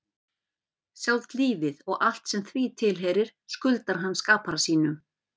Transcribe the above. Sjálft lífið og allt sem því tilheyrir skuldar hann skapara sínum.